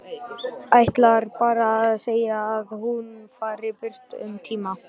Ætlar bara að segja að hún fari burt um tíma.